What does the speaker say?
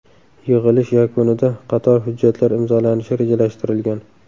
Yig‘ilish yakunida qator hujjatlar imzolanishi rejalashtirilgan.